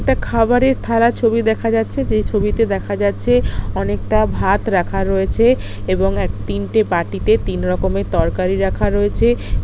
একটা খাবারে থালা ছবি দেখা যাচ্ছে যে ছবিতে দেখা যাচ্ছে অনেকটা ভাত রাখা রয়েছে এবং এক তিনটে বাটিতে তিন রকমের তরকারি রাখা রয়েছে।